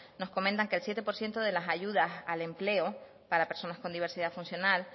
nos comentan que solo el siete por ciento de las ayudas al empleo para personas con diversidad funcional